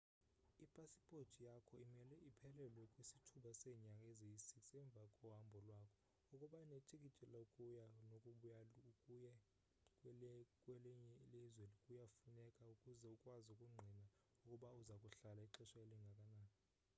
ipasipothi yakho imele iphelelwe kwisithuba seenyanga eziyi-6 emva kohambo lwakho. ukuba netikiti lokuya nokubuya/ukuya kwelinye ilzwe kuyafuneka ukuze ukwazi ukungqina ukuba uza kuhlala ixesha elingakanani